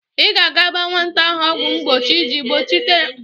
I ga-aga gba nwata ahụ ọgwọ mgbochi iji kpuchite ya n'aka nrịanrịa n'egbụ uMụaka.